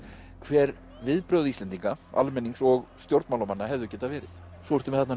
hver viðbrögð Íslendinga almennings og stjórnmálamanna hefðu getað verið svo ertu með